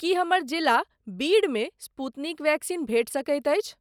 की हमर जिला बीड मे स्पूतनिक वैक्सीन भेटि सकैत अछि?